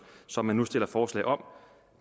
som de nu stiller forslag om